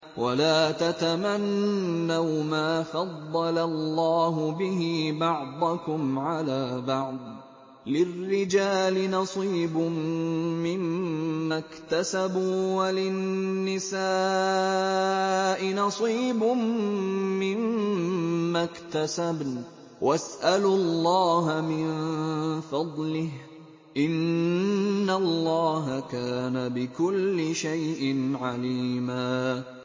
وَلَا تَتَمَنَّوْا مَا فَضَّلَ اللَّهُ بِهِ بَعْضَكُمْ عَلَىٰ بَعْضٍ ۚ لِّلرِّجَالِ نَصِيبٌ مِّمَّا اكْتَسَبُوا ۖ وَلِلنِّسَاءِ نَصِيبٌ مِّمَّا اكْتَسَبْنَ ۚ وَاسْأَلُوا اللَّهَ مِن فَضْلِهِ ۗ إِنَّ اللَّهَ كَانَ بِكُلِّ شَيْءٍ عَلِيمًا